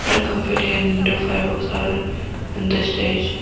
back and indo fireworks are on the stage.